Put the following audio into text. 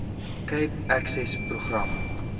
cape access program